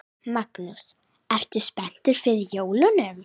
Magnús: Ertu spenntur fyrir jólunum?